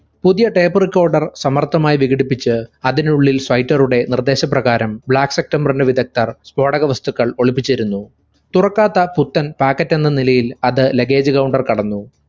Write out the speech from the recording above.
പുതിയ tape recorder സമർത്ഥമായി വികിടിപ്പിച് അതിനുള്ളിൽ സ്വൈറ്ററുടെ നിർദേശ പ്രകാരം black september ന്റെ വിദഗ്ദ്ധർ സ്ഫോടകവസ്തുക്കൾ ഒളിപ്പിച്ചിരുന്നു. തുറക്കാത്ത പുത്തൻ packet എന്ന നിലയിൽ അത് luggage counter കടന്നു.